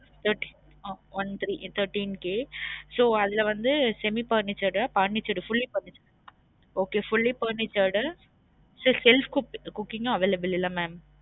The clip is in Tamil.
Thirt~ ah one three thirteen K so அதுல வந்து semi furnished furnished fully furnished okay fully furnished self cook~ cooking உம் available இல்ல mam